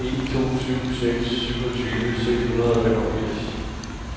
en to syv seks syvogtyve seks hundrede og femogfirs